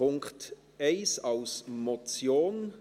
Punkt 1 als Motion: